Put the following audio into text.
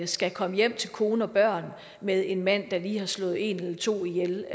skal komme hjem til kone og børn med en mand der lige har slået en eller to ihjel